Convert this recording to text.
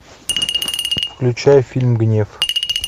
включай фильм гнев